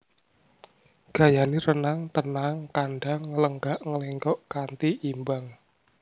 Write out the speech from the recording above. Gayané renang tenang kandang nglenggak nglenggok kanti imbang